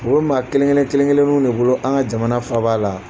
O bɛ maa kelen kelen kelenkelenniw de bolo an ka jamana faaba la.